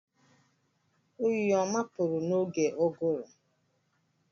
Oyi ọ mapụrụ n'oge ụgụrụ.